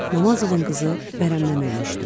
Naməzovanın qızı vərəmdən ölmüşdü.